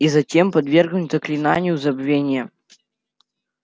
и затем подвергнуть заклинанию забвения